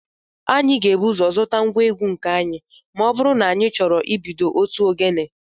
Anyị ga-ebu ụzọ zụta ngwa egwu nke anyị ma ọ bụrụ na anyị chọrọ ibido otu ogene